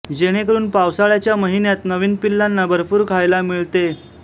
जेणेकरुन पावसाळ्याच्या महिन्यात नवीन पिल्लांना भरपूर खायला मिळते